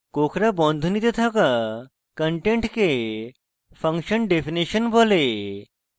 কোঁকড়া বন্ধনীতে থাকা contents function definition বলে